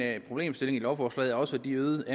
at en problemstilling i lovforslaget også er de øgede